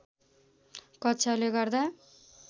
कक्षाले गर्दा